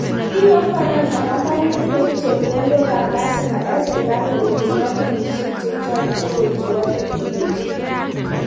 `tinye ufaransa panganutik koip chepkondok ab lazima eng serikali kobun kampunishek chechok cheo chebo teknolojia.